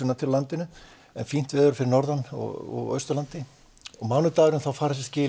fínt veður fyrir norðan og austan á mánudaginn fara þessi skil yfir landið